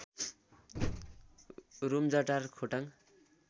Rumjatar Khotang